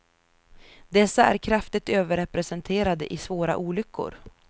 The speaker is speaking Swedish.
Dessa är kraftigt överrepresenterade i svåra olyckor.